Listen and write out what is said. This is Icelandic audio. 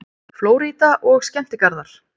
FLÓRÍDA OG SKEMMTIGARÐAR